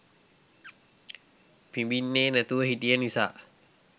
පිඹින්නේ නැතුව හිටිය නිසා